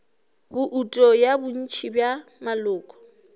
bouto ya bontši bja maloko